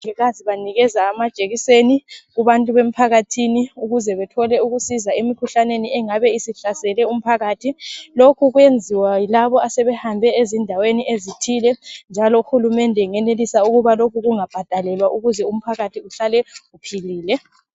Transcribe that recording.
Omongikazi banikeza amajekiseni kubantu bemphakathini ukuze bethole ukusika emkhuhlaneni engabe isihlasele umphakathi , lokhu kuyenziwa yilabo asebehambe ezindaweni ezithile njalo uhulumende engenelisa ukuba lokhu kungabhadalelwa ukuze umphakathi uhlale uphilile